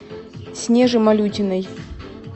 снеже малютиной